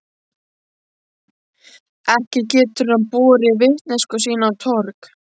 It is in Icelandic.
Ekki getur hann borið vitneskju sína á torg.